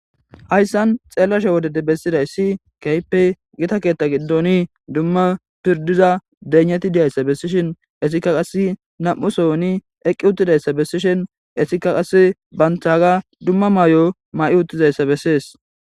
hayssan xeellashe wodede bessida issi keype gita keetta giddoni dumma pirdiza deneti diyayssa bessishin essikka qas nam7u sohoni eqqi uttidayssa bessishin essika qass banthaaga dumma may7o ma7i uttizayssa bessees